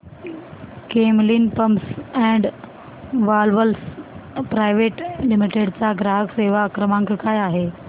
Camlin pumps and valves private limited चा ग्राहक सेवा क्रमांक काय आहे